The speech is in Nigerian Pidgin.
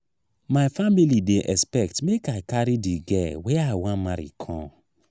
my family dey expect make i carry di girl wey i wan marry come.